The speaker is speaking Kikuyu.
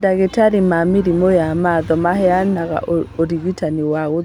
Mandagĩtarĩ ma mĩrimũ ya matho maheanga ũrigitani wa gũthĩnjana